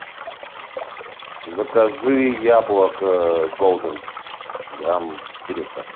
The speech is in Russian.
закажи яблоко голден грамм четыреста